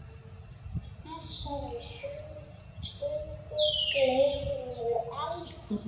Þessari stundu gleymir maður aldrei.